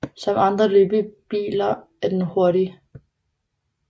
Som andre løbebiller er den hurtig